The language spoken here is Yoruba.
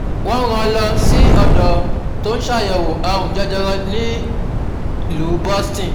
wọ́n ń rán an lọ sí ọ̀dọ́ tó ń ṣàyẹ̀wò àrùn jẹjẹrẹ nílùú boston